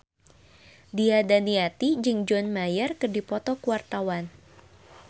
Nia Daniati jeung John Mayer keur dipoto ku wartawan